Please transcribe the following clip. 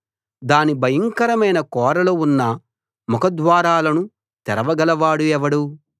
దాని భయంకరమైన కోరలు ఉన్న ముఖ ద్వారాలను తెరవగల వాడెవడు